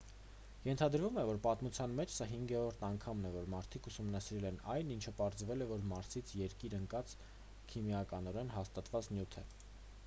ենթադրվում է որ պատմության մեջ սա հինգերորդ անգամն է որ մարդիկ ուսումնասիրել են այն ինչը պարզվել է որ մարսից երկիր ընկածը քիմիականորեն հաստատված նյութ է